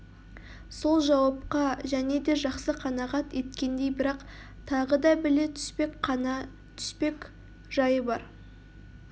сол жауапқа және де жақсы қанағат еткендей бірақ тағы да біле түспек қана түспек жайы бар